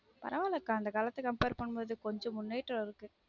பரவாயில்லைக்கா அந்த காலத்த compare பண்ணும்போது கொஞ்சம் முன்னேற்றம் இருக்கு